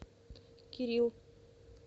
кирилл